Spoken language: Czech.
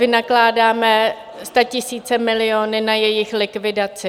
Vynakládáme statisíce, miliony na jejich likvidaci.